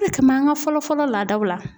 Ka n'an ka fɔlɔ fɔlɔ ladaw la.